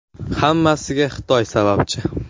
Hammasiga Xitoy sababchi.